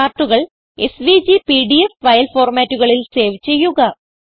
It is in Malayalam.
ചാർട്ടുകൾ എസ്വിജി പിഡിഎഫ് ഫയൽ ഫോർമാറ്റുകളിൽ സേവ് ചെയ്യുക